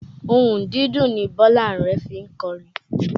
Ohùn dídùn ni Bọ́lá Are fi ń kọrin